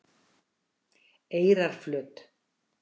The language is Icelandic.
Eyrarflöt